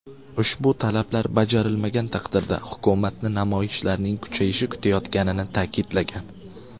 Ushbu talablar bajarilmagan taqdirda hukumatni namoyishlarning kuchayishi kutayotganini ta’kidlagan.